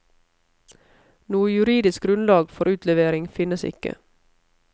Noe juridisk grunnlag for utlevering finnes ikke.